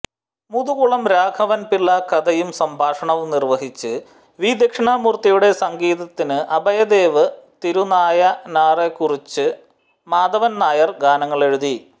മുതുകുളം രാഘവൻ പിള്ള കഥയും സംഭാഷണവും നിർവ്വഹിച്ചു വി ദക്ഷിണാമൂർത്തിയുടെ സംഗീതത്തിനു് അഭയദേവ് തിരുനായനാർക്കുറുച്ചി മാധവൻനായർ ഗാനങ്ങളെഴുതി